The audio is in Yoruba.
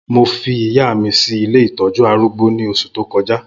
Mó fi ìyá mi si ilé itọ̀jù árùgbó ni óṣú tókọ̀já